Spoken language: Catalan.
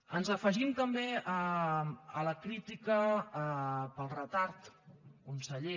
ens afegim també a la crítica pel retard conseller